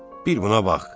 Bir buna bax.